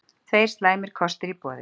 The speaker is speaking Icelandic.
Tveir slæmir kostir í boði